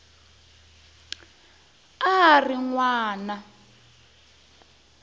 a a ri n wana